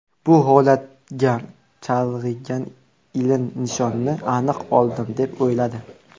Bu holatga chalg‘igan Ilin nishonni aniq oldim deb o‘yladi.